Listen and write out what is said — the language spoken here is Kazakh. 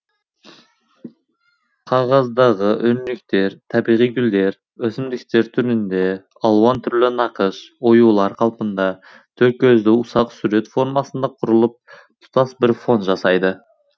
қағаздағы өрнектер табиғи гүлдер өсімдіктер түрінде алуан түрлі нақыш оюлар қалпында торкөзді ұсақ сурет формасында құрылып тұтас бір фон жасайды